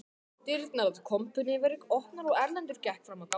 Dyrnar að kompunni voru opnar og Erlendur gekk fram á ganginn